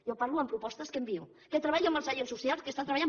jo parlo amb propostes que envio que treballo amb els agents socials i que estan treballant